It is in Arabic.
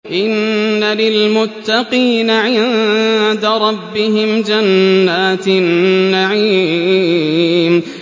إِنَّ لِلْمُتَّقِينَ عِندَ رَبِّهِمْ جَنَّاتِ النَّعِيمِ